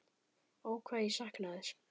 Ó hvað ég sakna þess.